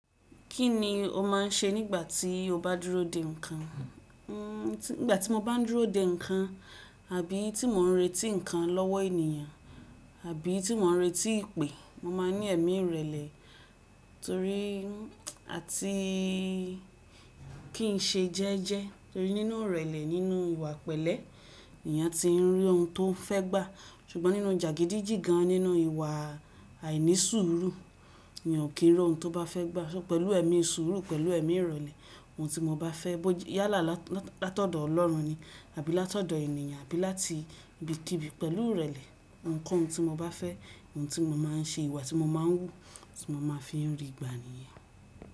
Kí ni o máa ń ṣe nígbà tí o bá dúró de ǹkan? Nigbà tí mo bá dúró de ǹkan, àbí tí mò ń retí ǹkan lọ́wọ́ ènìyàn, àbí tí mò ń retí ìpè, mo máa ní ẹ̀mí ìrẹ̀lẹ̀ torí àti kí n ṣe jẹ́jẹ́ torí nínú ìrẹ̀lẹ̀ nínú ìwà pẹ̀lẹ́, ni eyàn ti ń rí ohun tó fẹ́ gbà. Ṣùgbọ́n nínú jàgídíjígan nínú ìwà àìníṣuuru, ènìyàn kò rí ohun tó bá fẹ́ gbà. Ṣọ pẹ̀lú ẹ̀mí ìṣòro, pẹ̀lú ẹ̀mí ìrẹ̀lẹ̀, ohun tí mo bá fẹ́, bó yála láti ọ̀dọ̀ Ọlọ́run ni àbí láti ọ̀dọ̀ ènìyàn, àbí láti ibikíbi pẹ̀lú ìrẹ̀lẹ̀, ohun koun tí mo bá fẹ́, ohun tí mo máa ń ṣe, ìwà tí mo máa ń hù, tí mo máa fi ń rí igba ènìyàn.